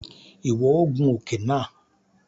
Iwọ o gùn òke náà!